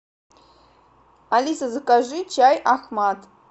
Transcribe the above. алиса закажи чай ахмад